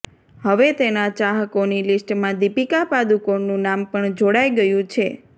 હવે તેના ચાહકોની લિસ્ટમાં દીપિકા પાદુકોણનું નામ પણ જોડાઇ ગયું છે